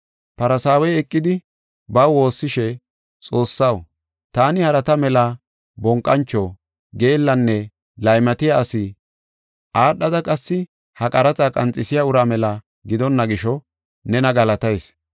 Farsaawey eqidi baw woossishe, ‘Xoossaw taani harata mela bonqancho, geellanne laymatiya asi, aadhada qassi ha qaraxa qanxisiya uraa mela gidonna gisho nena galatayis.